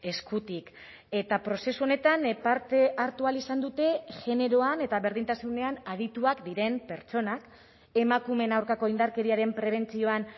eskutik eta prozesu honetan parte hartu ahal izan dute generoan eta berdintasunean adituak diren pertsonak emakumeen aurkako indarkeriaren prebentzioan